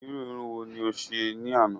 Irú Irun wo ni o ṣe ní àná?